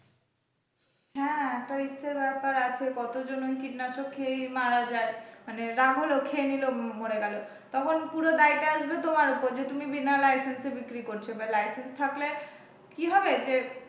হ্যাঁ একটা risk এর ব্যপার আছ কতজন ওই কীটনাশক খেয়ে মারা যায় মানে রাগ হলো খেয়ে নিল মরে গেল তখন পুরো দাই টা আসবে তোমার ওপর যে তুমি বিনা licence এ বিক্রি করছ বা licence থাকলে কি হবে যে,